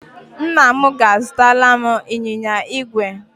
Nna m ga-azụtara m ịnyịnya igwe.